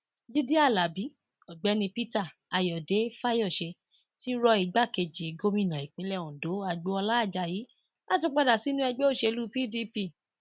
jíde alábi ọgbẹni peter ayọdẹ fáyọsé ti rọ ìgbàkejì gómìnà ìpínlẹ ondo agboola ajayi láti padà sínú ẹgbẹ òṣèlú pdp